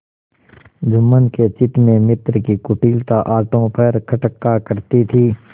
जुम्मन के चित्त में मित्र की कुटिलता आठों पहर खटका करती थी